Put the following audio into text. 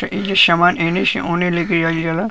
त एहिजा सामान ऐनी से ओने लेके जाईल जला |